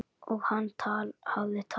Og hann hafði talað.